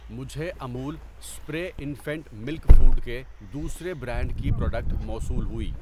مجھے Amul spray infant milk food کے دوسرے برانڈ کی پراڈکٹ موصول ہوئی۔